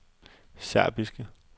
serbiske